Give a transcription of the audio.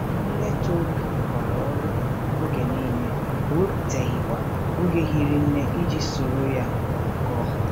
Nne Tohru rụkwara ọrụ oge nile, o wepụtaghịkwa oge hiri nne iji soro ya nọkọọ.